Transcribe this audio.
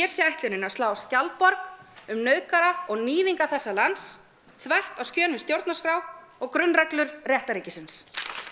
sé ætlunin að slá skjaldborg um nauðgara og níðinga þessa lands þvert á skilning stjórnarskrár og grunnreglur réttarríkisins